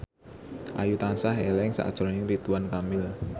Ayu tansah eling sakjroning Ridwan Kamil